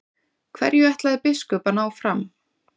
Hverju ætlaði biskup að ná fram?